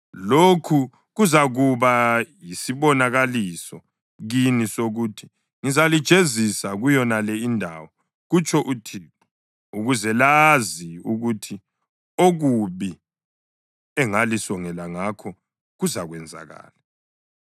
Lokhu kuzakuba yisibonakaliso kini sokuthi ngizalijezisa kuyonale indawo,’ kutsho uThixo, ‘ukuze lazi ukuthi okubi engalisongela ngakho kuzakwenzakala.’